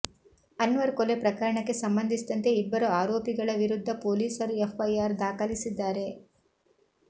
ಅನ್ವರ್ ಕೊಲೆ ಪ್ರಕರಣಕ್ಕೆ ಸಂಬಂಧಿಸಿದಂತೆ ಇಬ್ಬರು ಆರೋಪಿಗಳ ವಿರುದ್ಧ ಪೊಲೀಸರು ಎಫ್ಐಆರ್ ದಾಖಲಿಸಿದ್ದಾರೆ